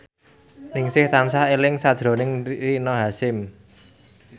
Ningsih tansah eling sakjroning Rina Hasyim